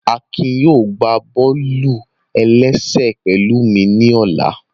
Akin yóò gbá bọ́ọ̀lù-ẹlẹ́sẹ̀ pẹ̀lụ́ mi ní ọ̀la